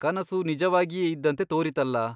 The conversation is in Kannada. ಕನಸು ನಿಜವಾಗಿಯೇ ಇದ್ದಂತೆ ತೋರಿತಲ್ಲ !